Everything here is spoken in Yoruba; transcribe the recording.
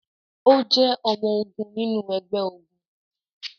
O jẹ ọmọ-ogun nínú ẹgbẹ-ogun